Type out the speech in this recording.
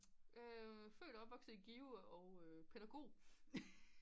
Født og opvokset i Give og pædagog